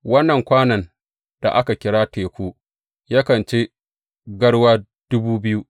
Wannan kwanon da aka kira Teku yakan ci garwa dubu biyu.